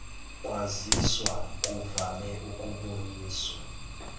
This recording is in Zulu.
kwaziswa kuvame ukuboniswa